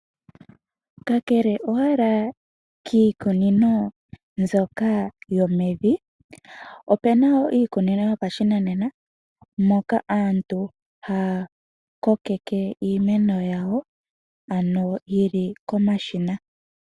Kakele owala kiikunino mbyoka yomevi, opu na wo iikunino yopashinanena moka aantu haya kokeke iimeno yawo yi li komashina.